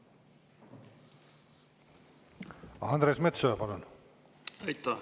Andres Metsoja, palun!